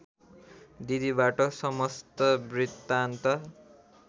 दिदीबाट समस्त वृत्तान्त